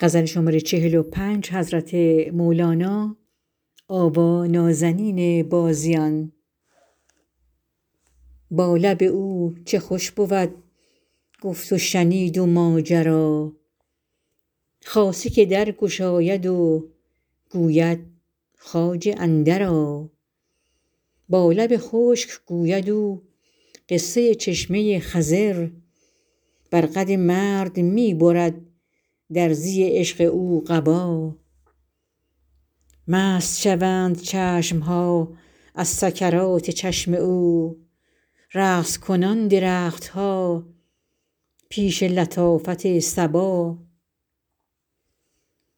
با لب او چه خوش بود گفت و شنید و ماجرا خاصه که در گشاید و گوید خواجه اندرآ با لب خشک گوید او قصه چشمه ی خضر بر قد مرد می برد درزی عشق او قبا مست شوند چشم ها از سکرات چشم او رقص کنان درخت ها پیش لطافت صبا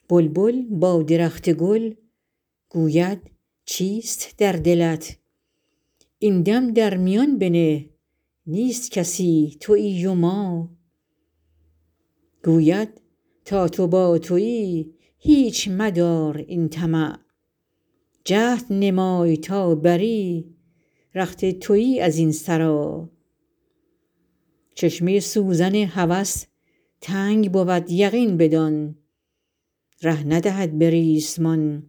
بلبل با درخت گل گوید چیست در دلت این دم در میان بنه نیست کسی توی و ما گوید تا تو با توی هیچ مدار این طمع جهد نمای تا بری رخت توی از این سرا چشمه ی سوزن هوس تنگ بود یقین بدان ره ندهد به ریسمان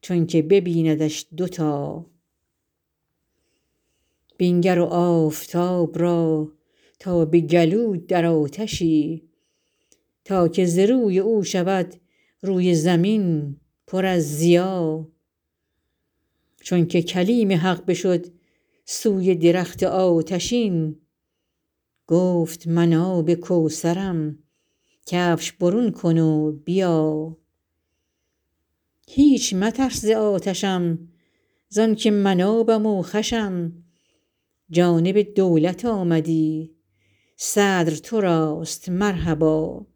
چونک ببیندش دوتا بنگر آفتاب را تا به گلو در آتشی تا که ز روی او شود روی زمین پر از ضیا چونک کلیم حق بشد سوی درخت آتشین گفت من آب کوثرم کفش برون کن و بیا هیچ مترس ز آتشم زانک من آبم و خوشم جانب دولت آمدی صدر تراست مرحبا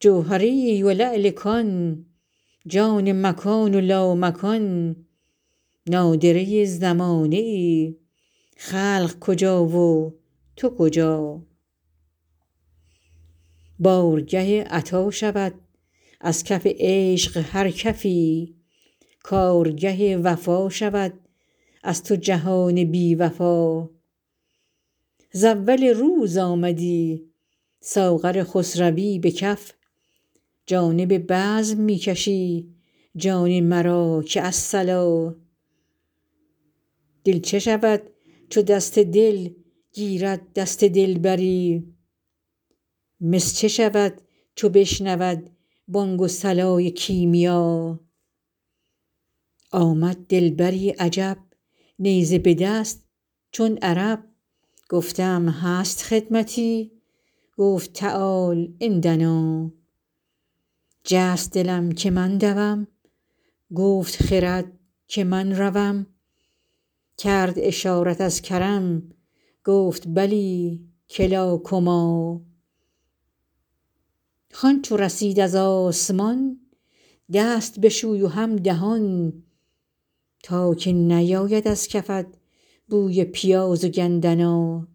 جوهریی و لعل کان جان مکان و لامکان نادره ی زمانه ای خلق کجا و تو کجا بارگه عطا شود از کف عشق هر کفی کارگه وفا شود از تو جهان بی وفا ز اول روز آمدی ساغر خسروی به کف جانب بزم می کشی جان مرا که الصلا دل چه شود چو دست دل گیرد دست دلبری مس چه شود چو بشنود بانگ و صلای کیمیا آمد دلبری عجب نیزه به دست چون عرب گفتم هست خدمتی گفت تعال عندنا جست دلم که من دوم گفت خرد که من روم کرد اشارت از کرم گفت بلی کلا کما خوان چو رسید از آسمان دست بشوی و هم دهان تا که نیاید از کفت بوی پیاز و گندنا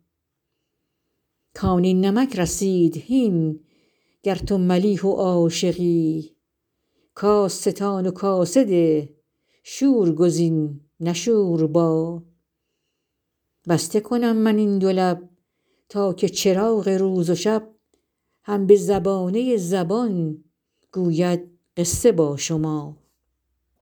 کان نمک رسید هین گر تو ملیح و عاشقی کاس ستان و کاسه ده شور گزین نه شوربا بسته کنم من این دو لب تا که چراغ روز و شب هم به زبانه ی زبان گوید قصه با شما